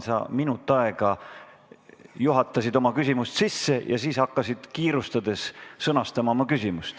Sa minut aega juhatasid oma küsimust sisse ja siis hakkasid kiirustades küsimust sõnastama.